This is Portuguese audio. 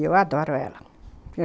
E eu adoro ela.